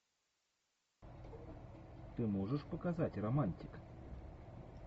ты можешь показать романтик